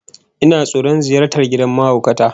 Ina tsoron ziyartar gidan mahaukata